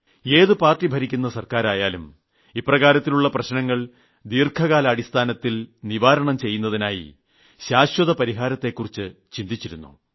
ഏതു പാർട്ടി ഭരിക്കുന്ന സർക്കാരായാലും ഇത്തരം പ്രശ്നങ്ങൾക്ക് ദീർഘകാലാടിസ്ഥാനത്തിലുള്ള ശാശ്വത പരിഹാമാണ് വേണ്ടത്